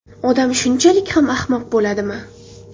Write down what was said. Odam shunchalik ham ahmoq bo‘ladimi?